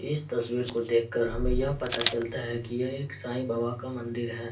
इस तस्वीर को देख कर हमें यह पता चलता हैं की यह एक साईं बाबा का मंदिर हैं।